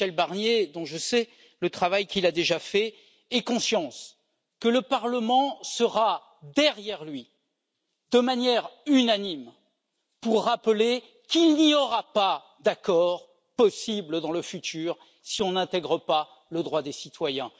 Michel Barnier, dont je sais le travail qu'il a déjà fait, ait conscience que le Parlement sera derrière lui, de manière unanime, pour rappeler qu'il n'y aura pas d'accord possible dans le futur si on n'intègre pas le droit des citoyens.